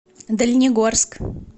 дальнегорск